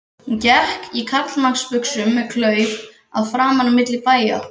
Hún gekk í karlmannsbuxum með klauf að framan milli bæja.